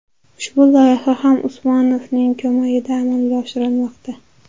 Ushbu loyiha ham Usmonovning ko‘magida amalga oshirilmoqda.